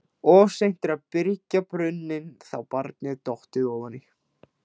Of seint er að byrgja brunninn þá barnið er dottið ofan í.